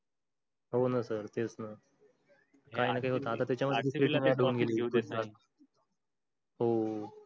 हो ना. sir तेच ना हो.